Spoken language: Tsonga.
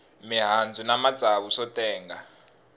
mihandzu na matsavu swo tenga